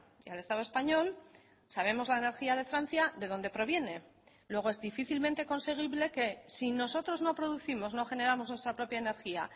y al estado español sabemos la energía de francia de dónde proviene luego es difícilmente conseguible que si nosotros no producimos no generamos nuestra propia energía